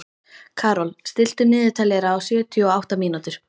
Karol, stilltu niðurteljara á sjötíu og átta mínútur.